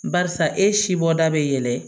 Barisa e si bɔda bɛ yɛlɛn